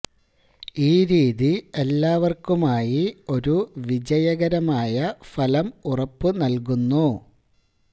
ഈ രീതി എല്ലാവർക്കുമായി ഒരു വിജയകരമായ ഫലം ഉറപ്പു നൽകുന്നു